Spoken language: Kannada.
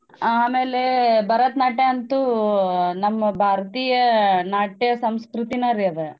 ಆಮೇಲೆ ಭರತ್ನಾಟ್ಯ ಅಂತೂ ನಮ್ ಭಾರತೀಯ ನಾಟ್ಯ ಸಂಸ್ಕೃತಿನರಿ ಅದು.